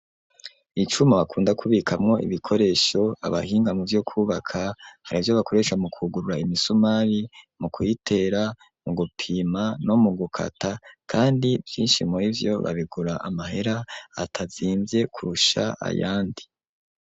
Icuma bakunda kubikamwo ibikoresho abahinga muvyo kubika hari ivyo bakoresha mu kugurura imisumari mu kuyitera mu gupima no mu gukata kandi vyinshi muri vyo babigura amahera atazimvye kurusha ayandi.